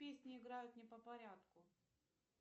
песни играют не по порядку